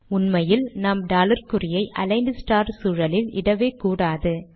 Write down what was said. உண்மையில் நாம் டாலர் குறியை அலிக்ன்ட் ஸ்டார் சூழலில் இடவே கூடாது